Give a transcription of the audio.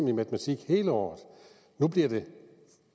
i matematik hele året nu bliver det